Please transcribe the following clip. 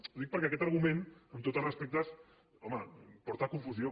ho dic perquè aquest argument amb tots els respectes home porta a confusió